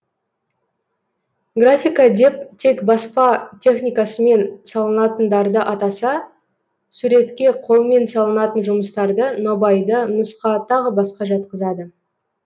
графика деп тек баспа техникасымен салынатындарды атаса суретке қолмен салынатын жұмыстарды нобайды нұсқа тағы басқа жатқызады